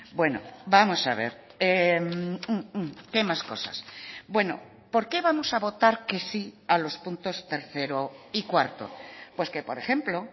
bueno vamos a ver qué más cosas bueno por qué vamos a votar que sí a los puntos tercero y cuarto pues que por ejemplo